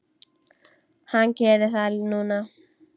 Hann gerir það núna.